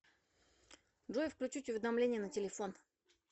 джой включить уведомления на телефон